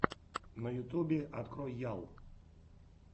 на ютюбе открой ял